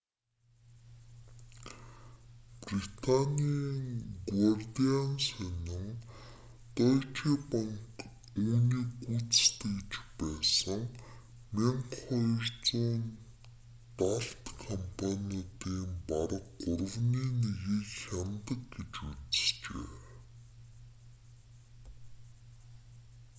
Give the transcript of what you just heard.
британийн гуардиан сонин дойче банк үүнийг гүйцэтгэж байсан 1200 далд компаниудын бараг гуравны нэгийг хянадаг гэж үзжээ